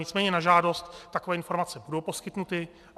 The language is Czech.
Nicméně na žádost takové informace budou poskytnuty.